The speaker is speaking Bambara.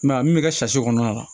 a min bɛ kɛ kɔnɔna la